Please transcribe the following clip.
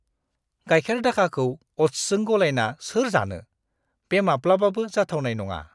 गाइखेर-दाखाखौ अ'ट्सजों गलायना सोर जानो? बे माब्लाबाबो जाथावनाय नङा!